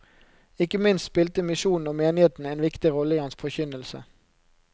Ikke minst spilte misjonen og menigheten en viktig rolle i hans forkynnelse.